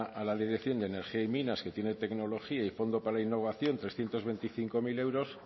a la dirección de energía y minas que tiene tecnología y fondo para innovación trescientos veinticinco mil euros